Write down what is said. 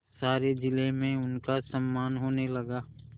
सारे जिले में उनका सम्मान होने लगा